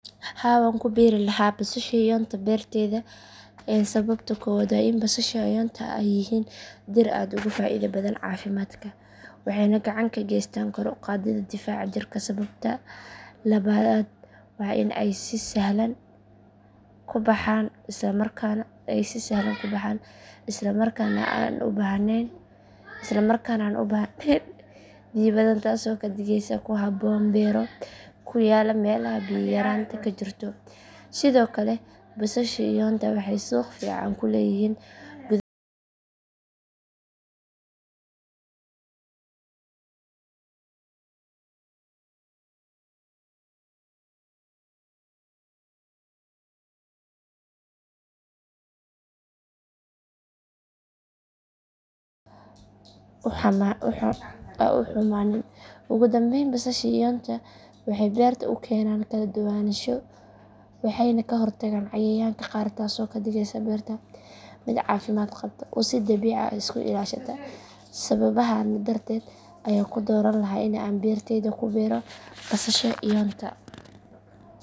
Haa waan ku beeri lahaa basasha iyoonta beertayda sababta koowaad waa in basasha iyoonta ay yihiin dhir aad ugu faa’iido badan caafimaadka waxayna gacan ka geystaan kor u qaadidda difaaca jirka sababta labaad waa in ay si sahlan ku baxaan islamarkaana aan u baahnayn biyo badan taasoo ka dhigaysa ku habboon beero ku yaalla meelaha biyo yaraanta ka jirto sidoo kale basasha iyoonta waxay suuq fiican ku leeyihiin gudaha iyo dibaddaba taasoo ii suurtagelin karta in aan ka helo dakhli dheeraad ah sababta kale waa in ay leeyihiin cimri dheer marka la goosto waxayna keyd ahaan ugu jiri karaan qoyska muddo dheer iyaga oo aan si degdeg ah u xumaanin ugu dambeyn basasha iyoonta waxay beerta u keenaan kala duwanaansho waxayna ka hortagaan cayayaanka qaar taasoo ka dhigaysa beerta mid caafimaad qabta oo si dabiici ah isku ilaashata sababahan darteed ayaan ku dooran lahaa in aan beertayda ku beero basasha iyoonta.